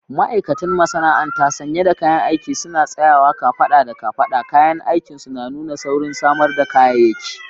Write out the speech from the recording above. Ma'aikatan masana'anta sanye da kayan aiki suna tsayawa kafada da kafada, kayan aikinsu na nuna saurin samar da kayayyaki